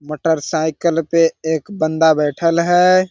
Motorcycle पे एक बंदा बैठल है।